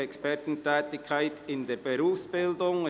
Expertentätigkeit in der Berufsbildung».